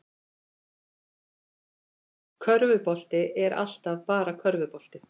Körfubolti er alltaf bara körfubolti